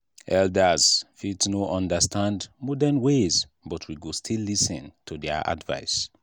elders fit no understand modern ways but we go still lis ten to their advice.